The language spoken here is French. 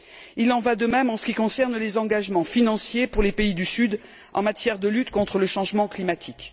Il en va de même en ce qui concerne les engagements financiers pour les pays du Sud en matière de lutte contre le changement climatique.